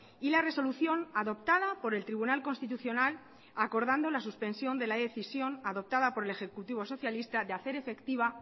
y la resolución adoptada por el tribunal constitucional acordando la suspensión de la decisión adoptada por el ejecutivo socialista de hacer efectiva